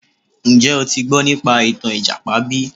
Njẹ́ o ti gbọ́ nípa ìtàn ìjàpá bí?